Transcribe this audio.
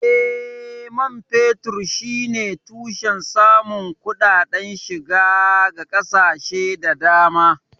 Eh, man fetur shine tushen samun kuɗaɗen shiga ga ƙasashe da dama.